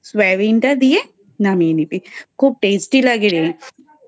সোয়াবিনটা দিয়ে নামিয়ে নিবি খুব Tasty লাগেরে।